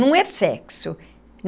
Não é sexo.